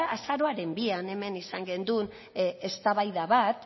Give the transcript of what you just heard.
azaroaren bian hemen izan gendun eztabaida bat